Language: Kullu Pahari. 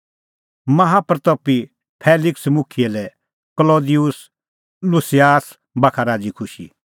माहा प्रतपी फेलिक्स मुखियै लै क्लौदिउस लुसियास बाखा राज़ीखुशी